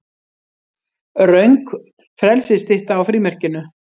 Röng frelsisstytta á frímerkinu